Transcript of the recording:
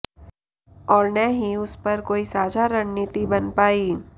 और न ही उस पर कोई साझा रणनीति बन पाई